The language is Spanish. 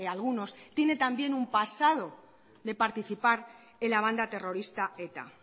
algunos tiene también un pasado de participar en la banda terrorista eta